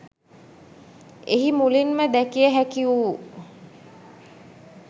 එහි මුලින්ම දැකිය හැකි වූ